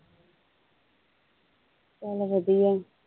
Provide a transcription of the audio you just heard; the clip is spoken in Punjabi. ਚੱਲ ਵਧੀਆ।